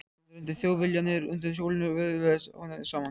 Hann renndi Þjóðviljanum undan hjólinu og vöðlaði honum saman.